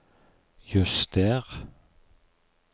juster